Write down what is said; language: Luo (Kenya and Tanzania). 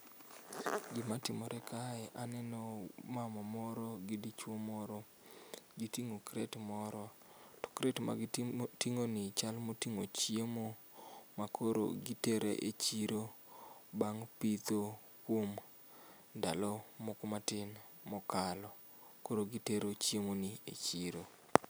Gima timore kae, aneno mama moro gi dichuo moro, gitingo crate moro to crate magitingo ni chal motingo chiemo makoro gitero e chiro bang' pitho kuom ndalo moko matin mokalo. Koro gitero chiemo ni e chiro